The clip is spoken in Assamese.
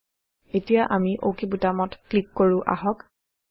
160 এতিয়া আমি অক বুটামত ক্লিক কৰো আহক